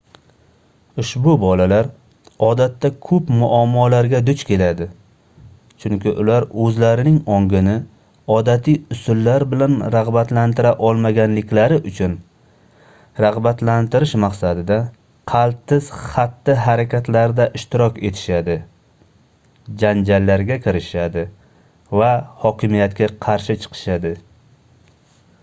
ushbu bolalar odatda koʻp muammolarga duch keladi chunki ular oʻzlarining ongini odatiy usullar bilan ragʻbatlantira olmaganliklari uchun ragʻbatlantirish maqsadida qaltis xatti-harakatlarda ishtirok etishadi janjallarga kirishishadi va hokimiyatga qarshi chiqishadi